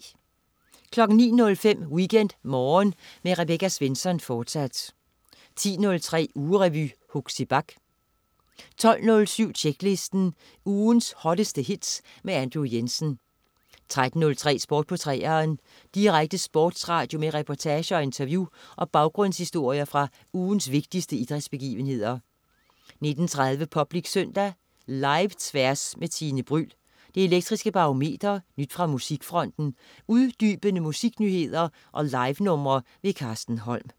09.05 WeekendMorgen med Rebecca Svensson, fortsat 10.03 Ugerevy. Huxi Bach 12.07 Tjeklisten. Ugens hotteste hits med Andrew Jensen 13.03 Sport på 3'eren. Direkte sportsradio med reportager, interview og baggrundshistorier fra ugens vigtigste idrætsbegivenheder 19.30 Public Søndag. Live-Tværs med Tine Bryld, Det Elektriske Barometer, nyt fra musikfronten, uddybende musiknyheder og livenumre. Carsten Holm